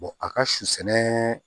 a ka su sɛnɛ